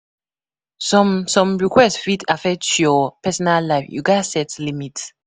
Some some requests fit affect your personal life; you gatz set limits.